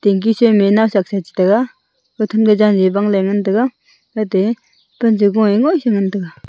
ekin sa mena shak tiga than ma jali e bang ngan taiga .]